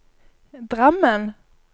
Drammen